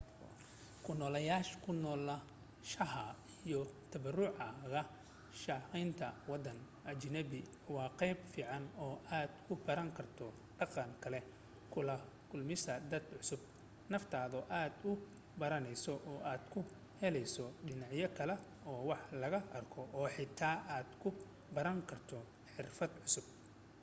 ku noolaanshaha iyo tabaruc kaga shaqaynta waddan ajaanib waa qaab fiican oo aad ku baran karto dhaqan kale kula kulmayso dad cusub naftaada aad ku baranayso oo aad ku helayso dhinac kale oo wax laga arko oo xitaa aad ku baran karto xirfad cusub